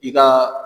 I ka